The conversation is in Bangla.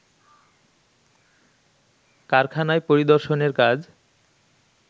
কারখানায় পরিদর্শনের কাজ